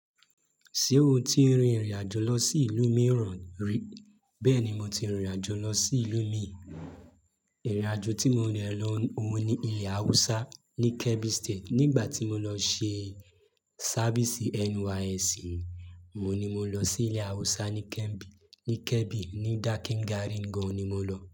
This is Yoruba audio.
Ṣé o ti rin ìrìn àjò lọ sí ìlú mìíràn rí? Bẹ́ẹ̀ni, mo ti rìnrìn àjò lọ sí ìlú míì. Ìrìn àjò tí mo rẹ lo ohun ní ilẹ̀ Haúsá ní Kebbi State nígbà tí mo lọ ṣe service NYSC. Ohun ni mo lọ sí ilẹ̀ Haúsá ní Kebbi, ní Kebbi, ní Dakin Gari gan ni mo lọ.